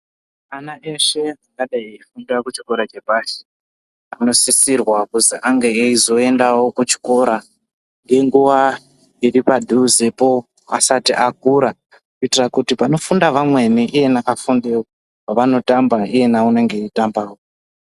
Ana eshe angadai eifunda kuchikora chepashi, anosisirwa kuzi ange eizoendawo kuchikora, ngenguwa iri padhuzepo asati akura, kuitira kuti panofunda vamweni, iyena afundewo, paanotambahe unenge eitambawo.